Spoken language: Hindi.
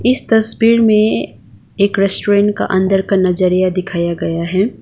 इस तस्वीर में एक रेस्टोरेंट का अंदर का नजरिया दिखाया गया हैं।